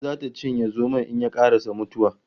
Ungulu zata cinye zomon in ye karasa mutuwa